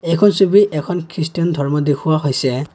এইখন ছবিত এখন খ্ৰীষ্টিয়ান ধৰ্ম দেখুওৱা হৈছে।